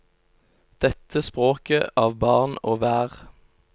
Dette språket av barn og vær.